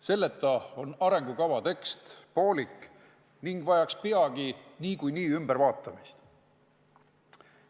Selleta on arengukava tekst poolik ning vajaks peagi niikuinii ümbertegemist.